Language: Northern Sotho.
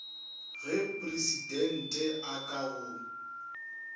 ge presidente a ka go